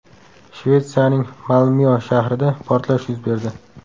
Shvetsiyaning Malmyo shahrida portlash yuz berdi.